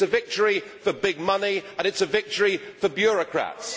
it is a victory for big money and a victory for bureaucrats.